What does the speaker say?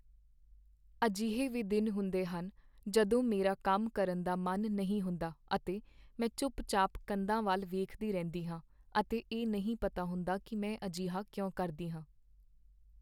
ਅਜਿਹੇ ਵੀ ਦਿਨ ਹੁੰਦੇ ਹਨ ਜਦੋਂ ਮੇਰਾ ਕੰਮ ਕਰਨ ਦਾ ਮਨ ਨਹੀਂ ਹੁੰਦਾ ਅਤੇ ਮੈਂ ਚੁੱਪਚਾਪ ਕੰਧਾਂ ਵੱਲ ਵੇਖਦੀ ਰਹਿੰਦੀ ਹਾਂ ਅਤੇ ਇਹ ਨਹੀਂ ਪਤਾ ਹੁੰਦਾ ਕੀ ਮੈਂ ਅਜਿਹਾ ਕਿਉਂ ਕਰਦੀ ਹਾਂ।